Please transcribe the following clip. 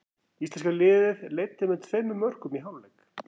Íslenska liðið leiddi með tveimur mörkum í hálfleik.